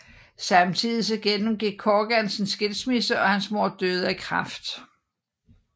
Samtidig gennemgik Corgan en skilsmisse og hans mor døde af kræft